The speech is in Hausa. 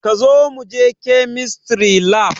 Zo muje kemistry lab